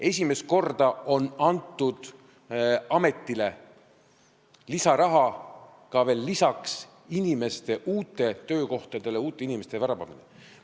Esimest korda on antud ametile lisaraha ka uutele töökohtadele uute inimeste värbamiseks.